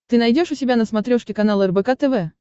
ты найдешь у себя на смотрешке канал рбк тв